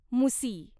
मुसी